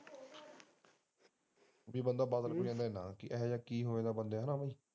ਕੀ ਬੰਦਾ ਇਹੋ ਜਿਹਾ ਕੀ ਹੋ ਜਾਂਦਾ ਐ ਬੰਦਿਆਂ ਨੂੰ